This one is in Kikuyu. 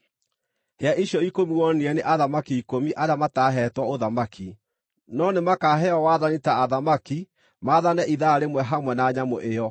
“Hĩa icio ikũmi wonire nĩ athamaki ikũmi arĩa mataahetwo ũthamaki, no nĩmakaheo wathani ta athamaki maathane ithaa rĩmwe hamwe na nyamũ ĩyo.